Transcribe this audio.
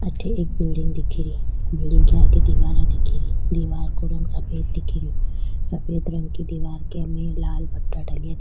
अठे एक बिल्डिंग दिख री बिल्डिंग के आगे दिवारा दिख री दिवार को रंग सफेद दिखरो सफ़ेद रंग की दिवार के में लाल पट्टा डलया --